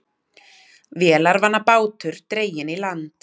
Vélarvana bátur dreginn í land